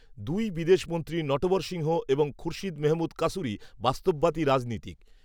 দুই বিদেশ মন্ত্রী নটবর সিংহ, এবং খুরশিদ মেহমুদ কাসুরি, বাস্তববাদী রাজনীতিক